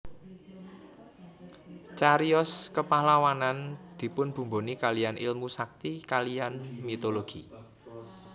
Cariyos kepahlawanan dipunbumboni kaliyan ilmu sakti kaliyan mitologi